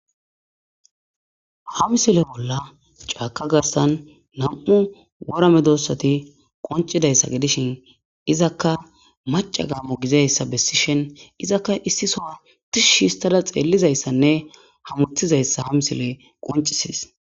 Ha misile bolla caka garisa na'mu wora medosatas qonicises izaka maca gamo gididaysa besishin izaka issi soho tishistada xelizaysanee hamutizayisa ha misiley qonicises